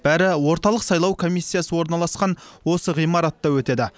бәрі орталық сайлау комиссиясы орналасқан осы ғимаратта өтеді